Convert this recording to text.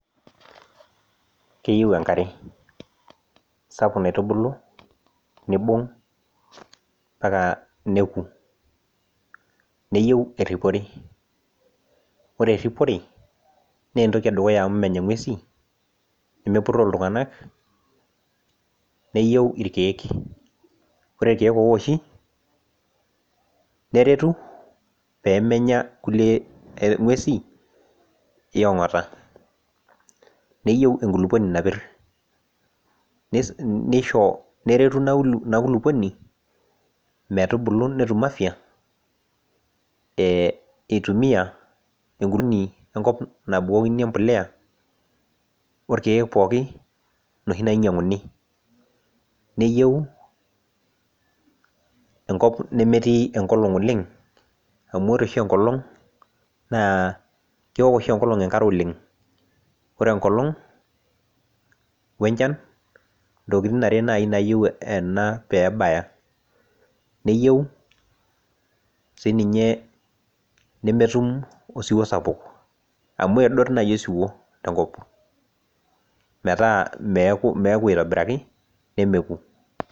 keyieu enkare sapuk naitubulu nibung' mpaka neku neyieu eripore, ore eripore naa entoki edukuya amu menya ing'uesin nemepuroo iltung'anak neyieu neyieu ilkeek ore ilkeek ore ikeek oo woshi pee menya ilkulie ng'uesin eyengota neyieu enkulukuoni napir neretu ina kulukuoni metubulu netum afia itumiya enkuni enkop nabukokini embolea orkeek pooki iloshi loinyang'uni, neyieu enkop nemetii engolong' oleng' amu ore oshi enkolong' naa kewok oshi enkolong' enkare oleng', ore engolong' we enchan naa intokitin are naaji naayieu ena pee ebaya, neyieu sii ninye nemetum osiwuo sapuk amu edot naaji osiwuo enkop meeta meeku aitobiraki nemeku.